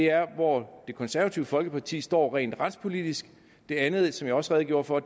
er hvor det konservative folkeparti står rent retspolitisk det andet som jeg også redegjorde for